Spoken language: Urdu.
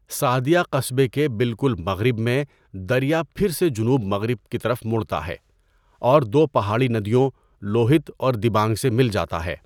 سعدیہ قصبے کے بالکل مغرب میں دریا پھر سے جنوب مغرب کی طرف مڑتا ہے اور دو پہاڑی ندیوں، لوہیت اور دیبانگ سے مل جاتا ہے۔